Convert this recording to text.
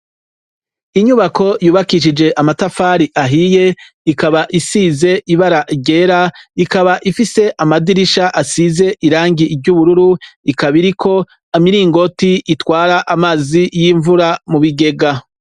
Inyubako yubakishijwe amatafari ahiye ikaba isize ibarara ryera ikaba ifise amadirisha asize irangi ryubururu ikaba iriko imiringoti itwara amazi yimvura mubigega